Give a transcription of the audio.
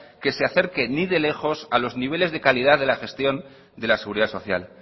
que se acerque ni de lejos a los niveles de calidad de la gestión de la seguridad social